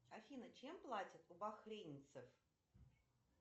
афина чем платят у бахрейнцев